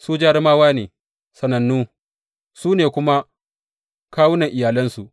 Su jarumawa ne, sanannu, su ne kuma kawunan iyalansu.